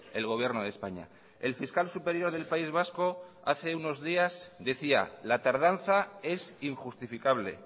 el gobierno de españa el fiscal superior del país vasco hace unos días decía la tardanza es injustificable